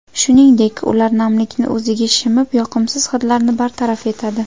Shuningdek, ular namlikni o‘ziga shimib, yoqimsiz hidlarni bartaraf etadi.